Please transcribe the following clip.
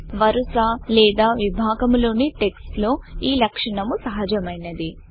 వరస లేదా విభాగము లోని టెక్స్ట్ లో ఈ లక్షణము సహజమైనది